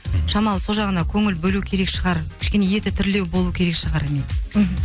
мхм шамалы сол жағына көңіл бөлу керек шығар кішкене еті тірілеу болу керек шығар мхм